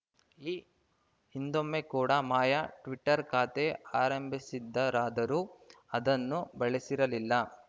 ಈ ಹಿಂದೊಮ್ಮೆ ಕೂಡಾ ಮಾಯಾ ಟ್ವಿಟರ್‌ ಖಾತೆ ಆರಂಭಿಸಿದ್ದರಾದರೂ ಅದನ್ನು ಬಳಸಿರಲಿಲ್ಲ